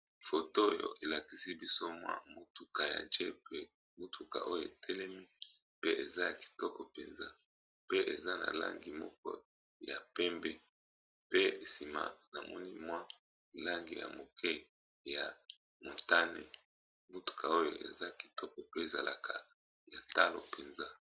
Foto oyo elakisi biso mwa motuka ya jepe mutuka oyo etelemi pe eza ya kitoko mpenza, pe eza na langi moko ya pembe pe nsima na moni mwa langi ya moke ya motane mutuka oyo eza kitoko pe ezalaka ya talo mpenza.